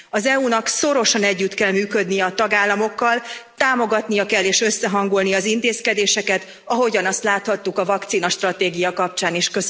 Az EU nak szorosan együtt kell működnie a tagállamokkal, támogatnia kell és összehangolni az intézkedéseket, ahogyan azt láthattuk a vakcinastratégia kapcsán is.